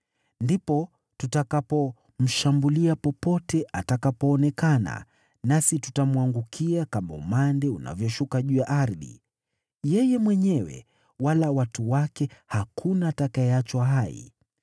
Ndipo tutakapomshambulia popote atakapoonekana, nasi tutamwangukia kama umande unavyoshuka juu ya ardhi. Yeye mwenyewe wala watu wake hakuna atakayeachwa hai.